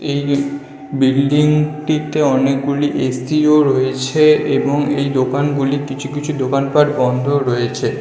এই B - building - টিতে অনেকগুলি এ.সি. - ও রয়েছে এবং এই দোকানগুলির কিছু কিছু দোকানপাঠ বন্ধ রয়েছে. --